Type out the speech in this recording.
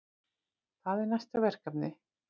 Það er næsta verkefni.